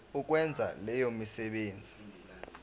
ukwenza leyo misebenzi